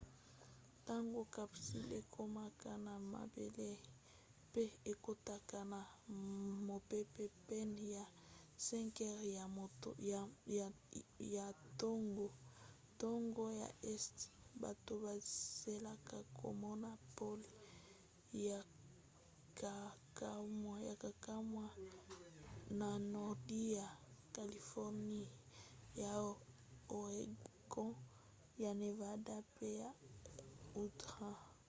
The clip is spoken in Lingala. ntango capsule ekomaka na mabele pe ekotaka na mopepe pene ya 5 heures ya ntongo ntango ya este bato bazelaka komona pole ya kokamwa na nordi ya californie ya oregon ya nevada pe ya utah